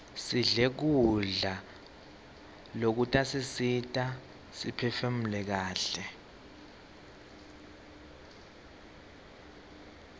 sidle kudla lokutasisita siphefumule kaihle